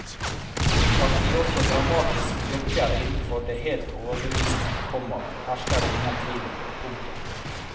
At de også dramatisk virker innenfor det helt overbevisende, komma hersker det ingen tvil om. punktum